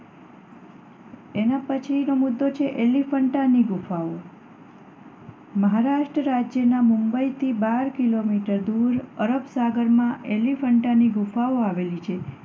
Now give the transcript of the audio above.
એના પછી તમે જોશો એલિફન્ટાની ગુફાઓ મહારાષ્ટ્ર રાજ્યમાં મુંબઈથી બાર કિલોમીટર દૂર અરબસાગરમાં એલિફન્ટાની ગુફાઓ આવેલી છે.